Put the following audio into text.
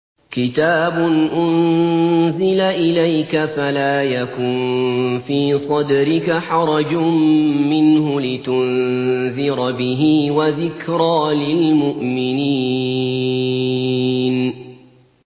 كِتَابٌ أُنزِلَ إِلَيْكَ فَلَا يَكُن فِي صَدْرِكَ حَرَجٌ مِّنْهُ لِتُنذِرَ بِهِ وَذِكْرَىٰ لِلْمُؤْمِنِينَ